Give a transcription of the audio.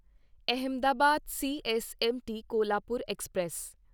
Ahmedabad CSMT Kolhapur express